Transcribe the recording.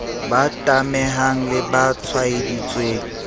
ba tamehang le ba tshwaeditsweng